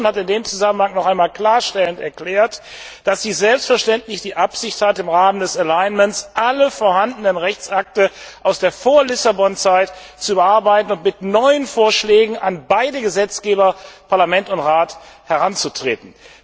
Die Kommission hat in diesem Zusammenhang nochmals klarstellend erklärt, dass sie selbstverständlich die Absicht hat, im Rahmen des Alignements alle vorhandenen Rechtsakte aus der Vor Lissabon Zeit zu überarbeiten und mit neuen Vorschlägen an beide Gesetzgeber Parlament und Rat heranzutreten.